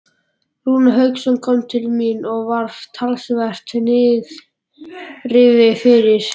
Rúnar Hauksson kom til mín og var talsvert niðrifyrir.